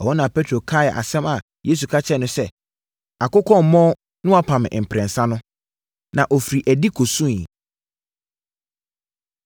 Ɛhɔ na Petro kaee asɛm a Yesu ka kyerɛɛ no sɛ, “Akokɔ remmɔn na woapa me mprɛnsa” no. Na ɔfirii adi kɔsuiɛ.